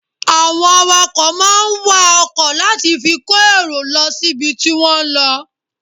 Àwọn awakọ̀ máà ń wa ọkọ̀ láti fi kó èrò lọ síbi tí wọ́n ń lọ.